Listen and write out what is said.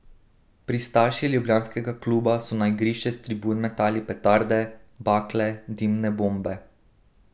Pristaši ljubljanskega kluba so na igrišče s tribun metali petarde, bakle, dimne bombe.